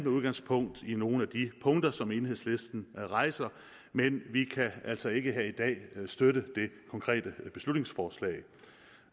udgangspunkt i nogle af de punkter som enhedslisten rejser men vi kan altså ikke her i dag støtte det konkrete beslutningsforslag